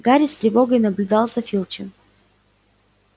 гарри с тревогой наблюдал за филчем